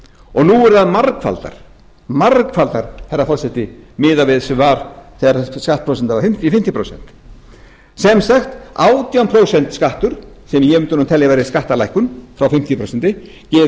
og nú eru þær margfaldar herra forseti miðað við sem var þegar þessi skattprósenta var fimmtíu prósent sem sagt átján prósent skattur sem ég mundi telja að væri skattalækkun frá fimmtíu prósent gefur meiri